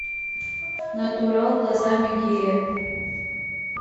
натурал глазами гея